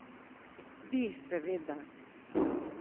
Bi, seveda.